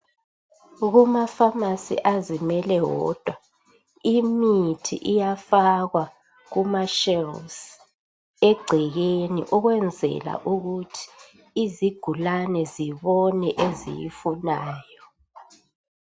Kumafamasi azimele wodwa , imithi iyafakwa kumashelivisi egcekeni ukwenzela ukuthi izigulane zibone eziyifunayo .